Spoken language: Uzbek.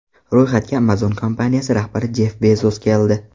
Ro‘yxatga Amazon kompaniyasi rahbari Jeff Bezos keldi.